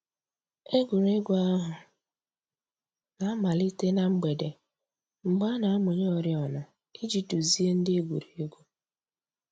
Ègwè́ré́gwụ̀ àhụ̀ nà-àmàlítè nà mgbèdè, mgbè a nà-àmụ̀nyè òrìọ̀nà íjì dùzìe ńdí ègwè́ré́gwụ̀.